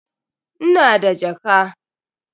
Ina da jaka.